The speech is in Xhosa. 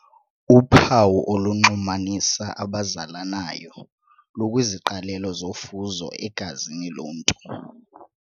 Uphawu olunxumanisa abazalanayo lukwiziqalelo zofuzo egazini lomntu.